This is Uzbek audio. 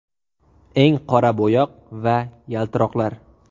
Eng qora bo‘yoq va yaltiroqlar.